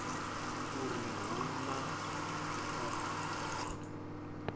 uri u hu na u